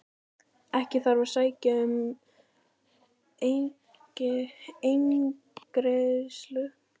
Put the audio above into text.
Ekki þarf að sækja um eingreiðslu